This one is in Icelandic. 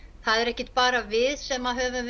það er ekkert bara við sem höfum